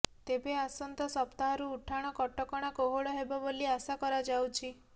ତେବେ ଆସନ୍ତା ସପ୍ତାହରୁ ଉଠାଣ କଟକଣା କୋହଳ ହେବ ବୋଲି ଆଶା କରାଯାଉଛି